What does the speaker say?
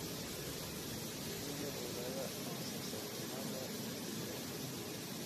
Sidee loo ogaadaa oncocytomaga kelyaha?